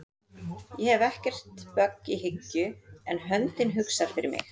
Ég hef ekkert bögg í hyggju en höndin hugsar fyrir mig